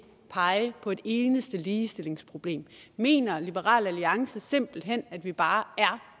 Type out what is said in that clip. pege på et eneste ligestillingsproblem mener liberal alliance simpelt hen at vi bare er